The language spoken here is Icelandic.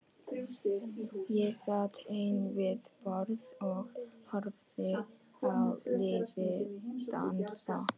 Ég sat ein við borð og horfði á liðið dansa.